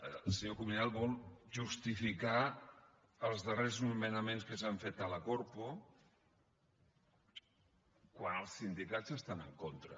el senyor cuminal vol justificar els darrers nomenaments que s’han fet a la corpo quan els sindicats hi estan en contra